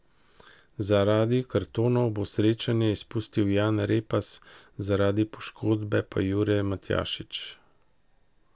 Zaradi kartonov bo srečanje izpustil Jan Repas, zaradi poškodbe pa Jure Matjašič.